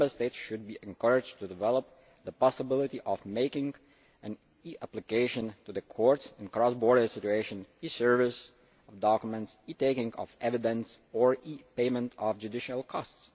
Member States should be encouraged to develop the possibility of making an e application to the courts in cross border situations, e service of documents, e taking of evidence, or e payment of judicial costs.